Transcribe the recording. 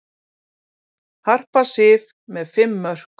Harpa Sif með fimm mörk